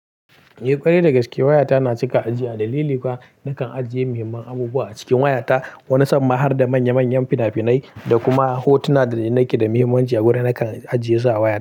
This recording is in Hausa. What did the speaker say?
Eh, ƙwarai da gaske waya ta na cika ajiya dalili kuwa nakan ajiye muhimman abubuwa a cikin wayata. Wani samma har da manya manyan fina-finai da kuma hotuna da nake da mahimmanci a gurin nakan ajiye su a wayata.